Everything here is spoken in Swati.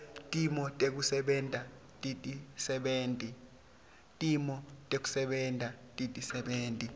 timo tekusebenta tetisebenti